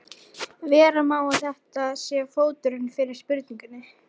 Vera má að þetta sé fóturinn fyrir spurningunni.